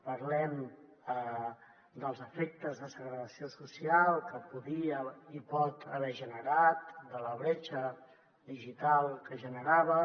parlem dels efectes de segregació social que podia i pot haver generat de la bretxa digital que generava